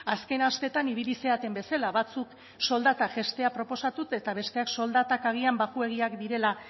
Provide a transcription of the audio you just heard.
azken asteetan ibili zareten bezala batzuek soldata jaistea proposatu eta besteek soldatak agian baxuegiak direla